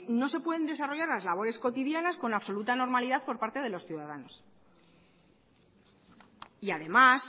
no se pueden desarrollar la labores cotidianas con absoluta normalidad por parte de los ciudadanos y además